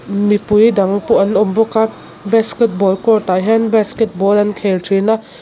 mipui dang pawh an awm bawka basketball court ah hian basketball an khel thin a.